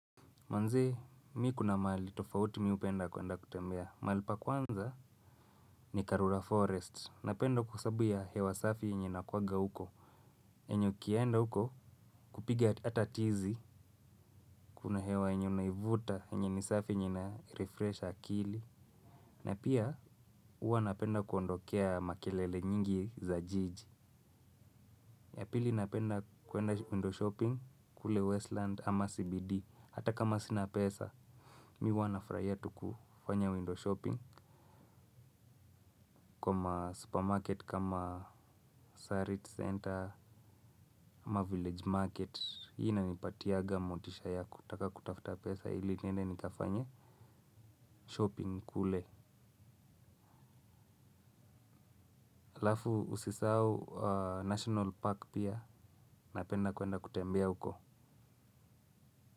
Manze, mi kuna mahali tofauti mi hupenda kuenda kutembea. Mahali pa kwanza ni Karura Forest. Napenda kwa sababu ya hewa safi yenye inakuwanga huko. Yenye ukienda huko kupiga hata tizi. Kuna hewa yenye unaivuta yenye ni safi yenye inarefresh akili. Na pia, huwa napenda kuondokea makelele nyingi za jiji. Ya pili napenda kuenda window shopping kule Westland ama CBD. Hata kama sina pesa. Mi huwa nafurahia tu kufanya window shopping. Kwa ma supermarket kama Sarit center ama Village market, hii inanipatianga motisha ya kutaka kutafuta pesa ili niende nikafanye shopping kule halafu usisahau national park pia napenda kuenda kutembea huko.